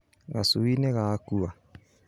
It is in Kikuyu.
Gacui nĩgakua